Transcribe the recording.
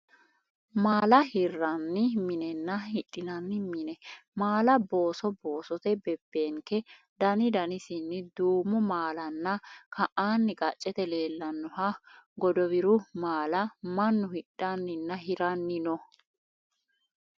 Maala hirranni minenna hidhinanni mine maala booso boosote bebbeenke daidanisinni:duumo maalanna ka'anni qaccete leellannoha godowiru maala mannu hidhanninna hiranni no.